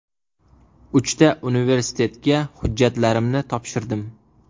Uchta universitetiga hujjatlarimni topshirdim.